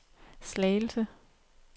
Slagelse